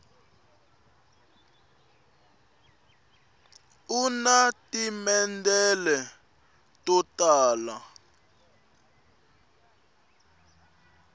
una timendlele to tala